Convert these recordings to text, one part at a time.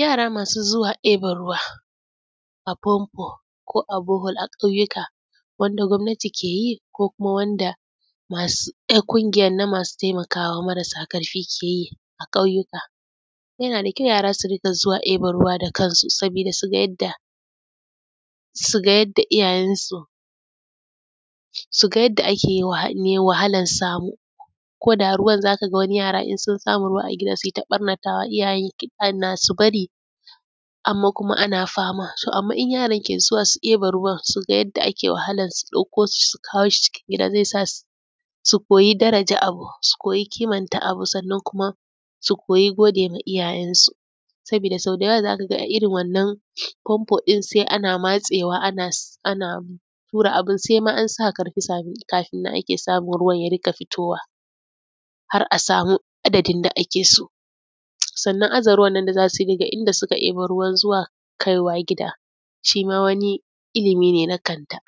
Yara masu zuwa ɗiban ruwa a famfo ko a borehole a ƙauyika wanda gwamnati ke yi ko kuma wanda ƙugiyanan na masu taimakawa marasa ƙarfi ke yi a ƙauyuka. Yana da kyau yara su dinga zuwa ɗidan ruwa da kansu saboda su ga yanda ake wahalar samu, koda ruwan za ka ga wani yaran in sun samu ruwa a gida su yi ta ɓannatawa, iyaye ana su bari amma kuma ana fama. Amma kuma in yaran ke zuwa su ɗiba ruwa su ga yanda ake wahala ɗauko shi su kawo shi cikin gida zai sa su koyi daraja abu, su koyi ƙimanta abu, sannan kuma su koyi godewa iyayansu sabida so da yawa za ka ga irin wannan famfo ɗin sai ana matsewa ana tura abin sai ma an sa ƙarfi kafin a samu ruwa ya ringa fitowa har a samu adadin da ake so. Sannan aza ruwanan da za su yi daga inda suka ɗiba ruwan nan zuwa kai wa gida shi ma wani ilimine na kanta.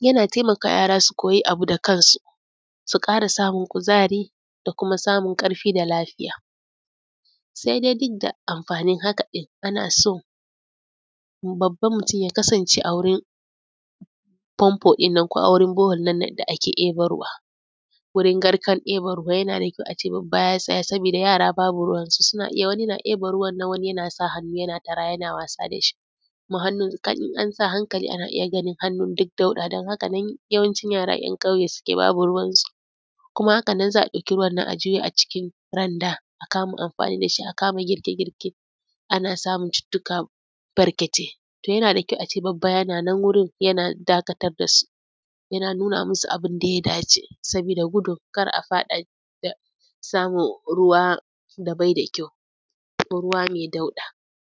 Yana taimaka wa yara su koyi abu da kansu, su ƙara samun kuzari da kuma samun ƙarfi da lafiya. Sai dai duk da amfanin haka ɗin ana so babban mutun ya kasance a wurin famfo ɗin nan ko a wurin bore hole ɗin nan da ake ɗiban ruwa, wurin garkan ɗiban ruwa yana da kyau a ce babba ya tsaya saboda yara babu ruwan su suna iya wani na ɗiban ruwa nan wani yana sa hannu yana tara yana wasa da shi kuma in an sa hankali ana iya ganin hannun nan duk dauɗa don haka nan yawancin yara ‘yan ƙauye haka suke babu ruwan su, kuma haka nan za a ɗauki ruwan nan a juye a cikin randa a kama amfani da shi, a kama girke girke ana samun cututtuka barkatai. To yana da kyau a ce babba yana wurin yana dakatar da su yana nuna masu abin da ya dace sabida gudun kar a faɗa samun ruwa da bai da kyau ko ruwa mai dauɗa.